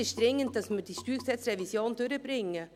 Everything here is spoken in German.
Jetzt ist es dringend, dass wir die StG-Revision durchbringen.